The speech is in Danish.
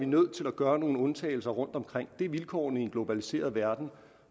nødt til at gøre nogle undtagelser rundtomkring det er vilkårene i en globaliseret verden